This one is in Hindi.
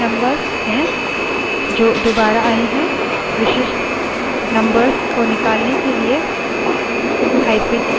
इस file में numbers हैं जो दुबारा आए हैं विशिष्ट numbers को निकालने के लिए –u option के अन्य option को जोड़ें